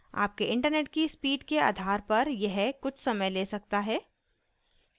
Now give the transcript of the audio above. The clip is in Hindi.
आपके इंटरनेट की स्पीड के आधार पर यह कुछ समय ले सकता है